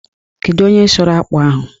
Kedu onye sụrụ akpụ ahụ?